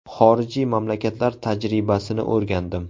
Xorijiy mamlakatlar tajribasini o‘rgandim.